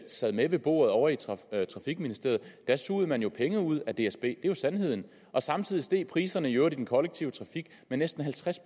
sad med ved bordet ovre i trafikministeriet sugede man jo penge ud af dsb det er jo sandheden og samtidig steg priserne i øvrigt i den kollektive trafik med næsten halvtreds